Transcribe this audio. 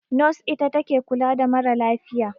Nos ita take kula da ma ra lafiya